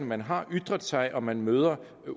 man har ytret sig og man møder